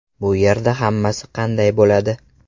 Bu yerda hammasi qanday bo‘ladi?